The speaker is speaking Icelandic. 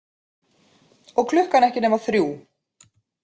Og klukkan ekki nema þrjú.